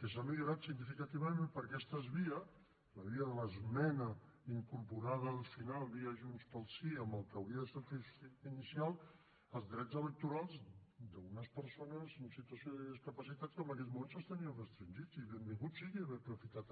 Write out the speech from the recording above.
que s’ha millorat significativament per aquesta via la via de l’esmena incorporada al final via junts pel sí en el que hauria de ser el text inicial els drets electorals d’unes persones en situació de discapacitat que en aquests moments els tenien restringits i benvingut sigui haver aprofitat